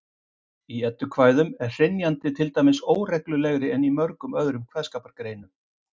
Í eddukvæðum er hrynjandi til dæmis óreglulegri en í mörgum öðrum kveðskapargreinum.